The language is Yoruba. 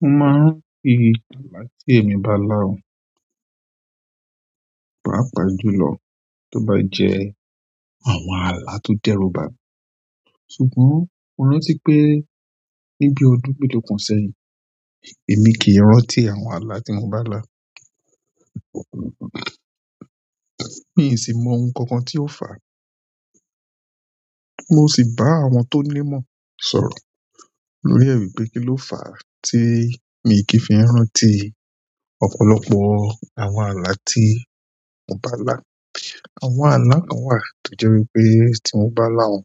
Mo ma n fi alẹ́ ti emi ba la o, paapa jùlọ ti o ba je alẹ́ ti o deru ba mi ṣùgbọ́n mo rántí pé ní bí ọdún mélòó kan sẹ́yìn, èmi kì í rántí àwọn àlá tí mo bá lá. Mi sì mọ́ ohun kan kan tí ó fà á. Mo sì bá àwọn tó ní mọ̀ sọ̀rọ̀ lórí è wipé kí ló fà á tí mi kì í fi rántí ọ̀pọ̀lọpọ̀ àwọn àlá tí mo bá lá. Àwọn àlá kan wà tó jẹ́ wípé tí mo bá lá wọn,